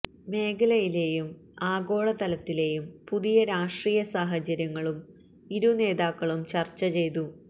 മേഖലയിലെയും ആഗോളതലത്തിലെയും പുതിയ രാഷ്ട്രീയ സാഹചര്യങ്ങളും ഇരു നേതാക്കളും ചര്ച്ച ചെയ്തു